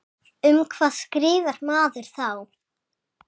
Um hvað skrifar maður þá?